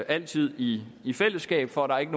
altid i i fællesskab for at der ikke